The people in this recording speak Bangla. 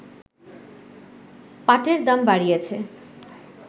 পাটের দাম বাড়িয়েছে